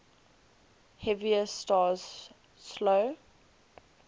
heavier stars slow